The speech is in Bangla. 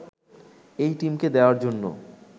এই টিমকে দেয়ার জন্যে